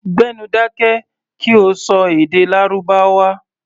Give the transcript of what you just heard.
Gbé nu dákẹ́ kí o ṣọ èdè Lárúbáwá!